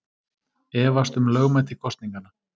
Efast um lögmæti kosninganna